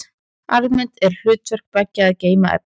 Almennt er hlutverk beggja að geyma efni.